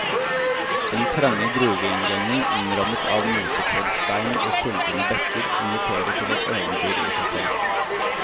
Den trange gruveinngangen, innrammet av mosekledd stein og sildrende bekker, inviterer til et eventyr i seg selv.